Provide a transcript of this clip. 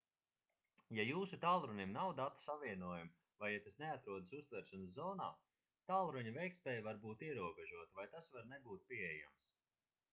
ja jūsu tālrunim nav datu savienojuma vai ja tas neatrodas uztveršanas zonā tālruņa veiktspēja var būt ierobežota vai tas var nebūt pieejams